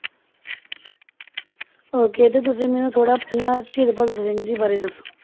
Okay ਤੇ ਤੁਸੀਂ ਮੈਨੂੰ ਥੋੜ੍ਹਾ ਪਹਿਲਾਂ ਸ਼ਹੀਦ ਭਗਤ ਸਿੰਘ ਜੀ ਬਾਰੇ ਦੱਸੋ।